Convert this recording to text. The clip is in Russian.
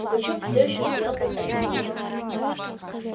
пугачёв всё ещё стоял под оренбургом